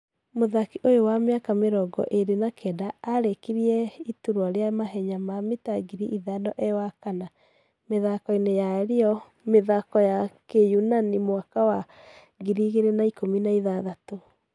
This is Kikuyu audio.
Muthaki ũyũ wa miaka mĩrogo ĩrĩ na kenda arĩkirĩe ĩturwa rĩa mahenya ma mita ngiri ĩthano e wakana, mĩthako-ini ya Rio Mĩthako ya kĩyunanimwaka wa 2016.